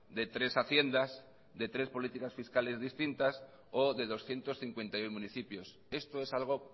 de tres haciendas de tres políticas fiscales distintas o de doscientos cincuenta y uno municipios esto es algo